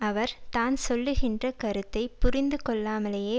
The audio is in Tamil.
அவர் தான் சொல்லுகின்ற கருத்தை புரிந்து கொள்ளாமலேயே